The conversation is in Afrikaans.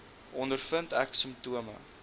ondervind ek simptome